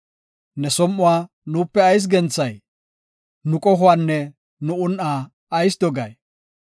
Ne som7uwa nuupe ayis genthay? Nu qohuwanne nu un7aa ayis dogay?